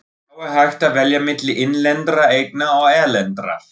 Þá er hægt að velja milli innlendra eigna og erlendra.